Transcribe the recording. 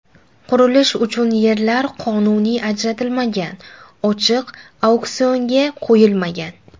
Qurilish uchun yerlar qonuniy ajratilmagan, ochiq auksionga qo‘yilmagan.